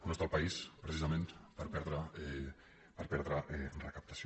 no està el país precisament per perdre recaptació